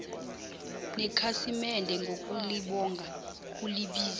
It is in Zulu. nekhasimede ngokulibonga ulibize